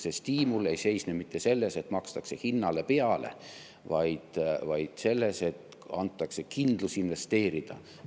See stiimul ei seisne mitte selles, et makstakse hinnale peale, vaid selles, et antakse kindlus investeerida.